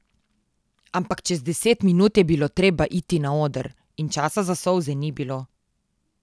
Ampak čez deset minut je bilo treba iti na oder in časa za solze ni bilo.